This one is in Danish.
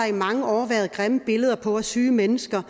i mange år været grimme billeder på af syge mennesker